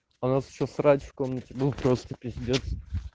у нас ещё срач в комнате был просто пиздец